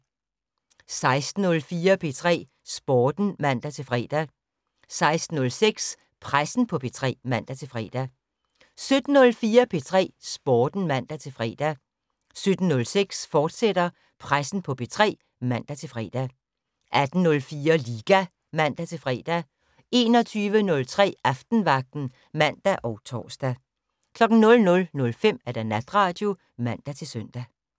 16:04: P3 Sporten (man-fre) 16:06: Pressen på P3 (man-fre) 17:04: P3 Sporten (man-fre) 17:06: Pressen på P3, fortsat (man-fre) 18:04: Liga (man-fre) 21:03: Aftenvagten (man og tor) 00:05: Natradio (man-søn)